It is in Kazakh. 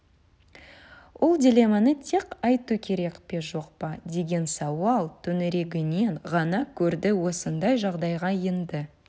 ол дилемманы тек айту керек пе жоқ па деген сауал төңірегінен ғана көрді осындай жағдайға енді